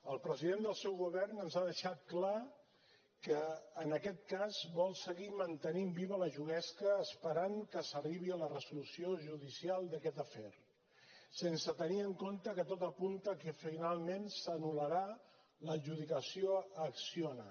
el president del seu govern ens ha deixat clar que en aquest cas vol seguir mantenint viva la juguesca esperant que s’arribi a la resolució judicial d’aquest afer sense tenir en compte que tot apunta que finalment s’anul·larà l’adjudicació a acciona